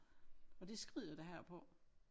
Og det skrider det her på